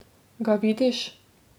Ga vidiš?